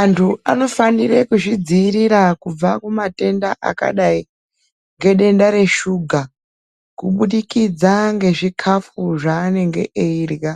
Antu anofanire kuzvidziirira kubva kumatenda akadai ngedenda reshuga kubudikidza ngezvikafu zvaanenge eirya.